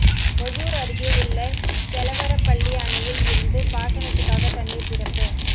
ஒசூர் அருகே உள்ள கெலவரப்பள்ளி அணையில் இருந்து பாசனத்துக்காக தண்ணீர் திறப்பு